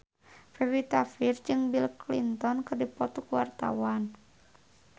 Pevita Pearce jeung Bill Clinton keur dipoto ku wartawan